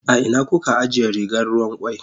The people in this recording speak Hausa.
A ina kuka ajiye rigar ruwan kwai?